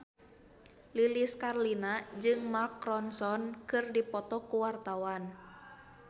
Lilis Karlina jeung Mark Ronson keur dipoto ku wartawan